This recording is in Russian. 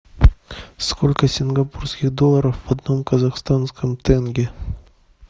сколько сингапурских долларов в одном казахстанском тенге